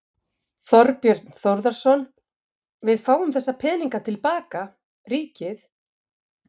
Þorbjörn Þórðarson: Við fáum þessa peninga til baka, ríkið?